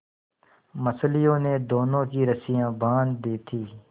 मछलियों ने दोनों की रस्सियाँ बाँध दी थीं